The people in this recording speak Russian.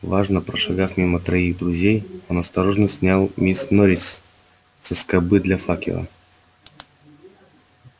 важно прошагав мимо троих друзей он осторожно снял мисс норрис со скобы для факела